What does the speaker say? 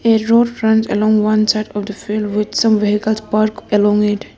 a road along one side of the field with some vehicles park along it.